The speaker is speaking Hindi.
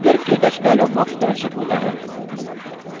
configure – ktouch dialog box प्रदर्शित होता है